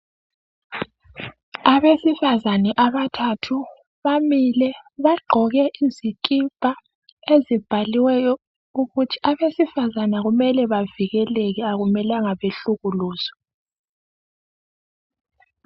Abesifazana abathathu bamile bagqoke izikipa ezibhaliweyo ukuthi abesifazana kumele bavikeleke akumelanga behlukuluzwe.